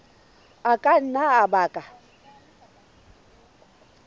a ka nna a baka